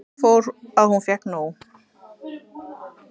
Svo fór að hún fékk nóg.